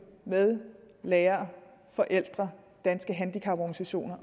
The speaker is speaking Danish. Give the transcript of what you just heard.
med lærere forældre danske handicaporganisationer